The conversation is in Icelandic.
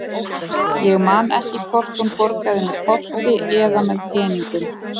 Ég man ekki hvort hún borgaði með korti eða með peningum.